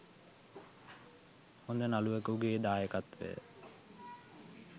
හොඳ නළුවෙකුගෙ දායකත්වය